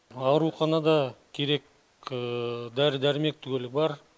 ауруханада керек дәрі дәрмек түгелі бар